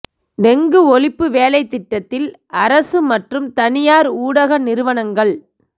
dengue ஒழிப்பு வேலைத்திட்டத்தில் அரச மற்றும் தனியார் ஊடக நிறுவனங்கள்